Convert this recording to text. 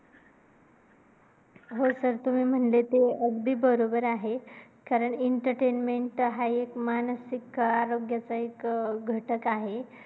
हो sir तुम्ही म्हणले ते अगदी बरोबर आहे. कारण मानसिक आरोग्य हा माणसाच्या आयुष्याचा एक घटक आहे.